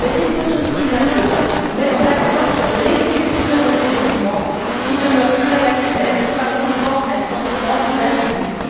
Ceci dit, il faut aussi maintenant mettre l'accent sur l'exécution de ces jugements, qui demeurent très lacunaires, favorisant un sentiment d'impunité.